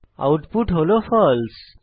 output হল ফালসে